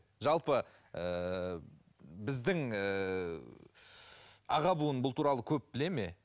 жалпы ііі біздің ііі аға буын бұл туралы көп біледі ме